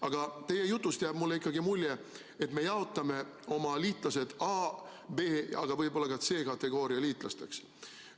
Aga teie jutust jääb mulle ikkagi mulje, et me jaotame oma liitlased A-, B- ja võib-olla ka C-kategooria liitlasteks.